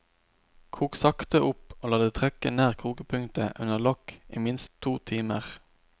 Kok sakte opp og la det trekke nær kokepunktet under lokk i minst to timer.